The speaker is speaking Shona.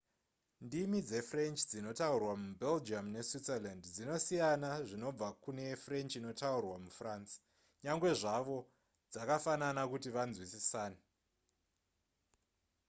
ndimi dzefrench dzinotaurwa mubelgium neswitzerland dzinosiyana zvinobva kubva kune french inotaurwa mufrance nyangwe zvavo dzakafanana kuti vanzwisisane